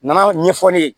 Nana ɲɛfɔ ne ye